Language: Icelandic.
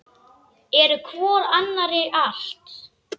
Eru hvor annarri allt.